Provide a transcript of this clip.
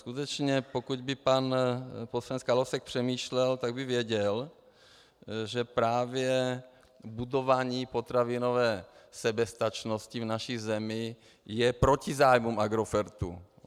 Skutečně pokud by pan poslanec Kalousek přemýšlel, tak by věděl, že právě budování potravinové soběstačnosti v naší zemi je proti zájmům Agrofertu.